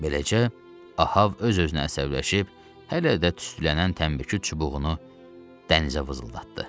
Beləcə, Ahav öz-özünə əsəbləşib hələ də tüstülənən tənbəkı çubuğunu dənizə vızıldatdı.